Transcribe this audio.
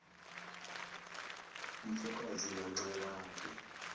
mfokazi nanxa yabe